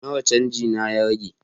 Nawa canji na ya rage?